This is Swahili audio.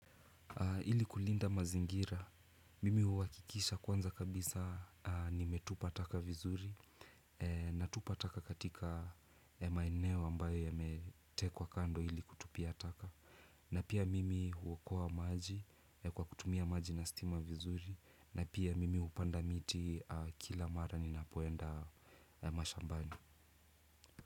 Ili kulinda mazingira, mimi huakikisha kwanza kabisa nimetupa taka vizuri. Natupa taka katika maeneo ambayo yametekwa kando ili kutupia taka. Na pia mimi huokoa maji kwa kutumia maji na stima vizuri. Na pia mimi hupanda miti kila mara ninapoenda mashambani.